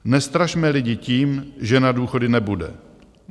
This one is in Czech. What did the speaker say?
Nestrašme lidi tím, že na důchody nebude.